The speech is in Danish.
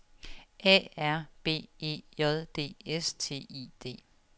A R B E J D S T I D